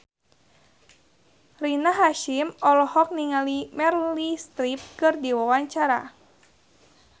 Rina Hasyim olohok ningali Meryl Streep keur diwawancara